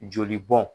Joli bɔn